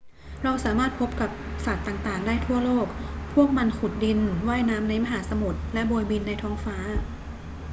เราสามารถพบสัตว์ต่าง ๆ ได้ทั่วโลก พวกมันขุดดิน ว่ายน้ำในมหาสมุทร และโบยบินในท้องฟ้า